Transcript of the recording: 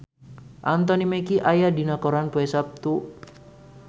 Anthony Mackie aya dina koran poe Saptu